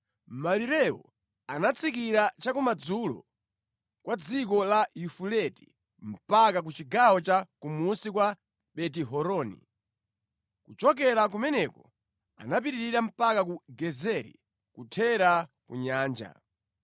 Malirewo anatsikira cha kumadzulo kwa dziko la Yafuleti mpaka ku chigawo cha kumunsi kwa Beti-Horoni. Kuchokera kumeneko anapitirira mpaka ku Gezeri nʼkuthera ku Nyanja.